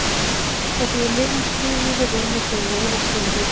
Þar sem við lifum í þrívíðu rúmi þurfum við eina tölu í viðbót.